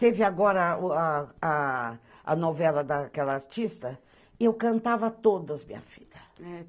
Teve agora a novela daquela artista e eu cantava todas, minha filha.